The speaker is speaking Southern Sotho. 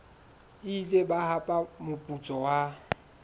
ile ba hapa moputso wa